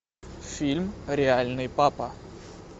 фильм реальный папа